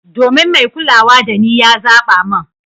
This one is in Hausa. Domin mai kulawa dani ya zaba mun.